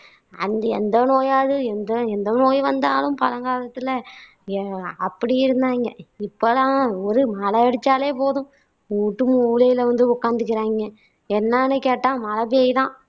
அந்தி எந்த நோயாவது எந்த எந்த நோய் வந்தாலும் பழங்காலத்துல எஅப்படி இருந்தாங்க இப்போ எல்லாம் ஒரு மழை அடிச்சாலே போதும் வூட்டு மூலையில வந்து உக்காந்துக்குறாங்க என்னன்னு கேட்டா மழை பெய்யுதாம்